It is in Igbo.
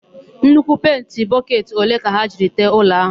Nnukwu penti bọketị ole ka ha jiri tee ụlọ áhụ̀?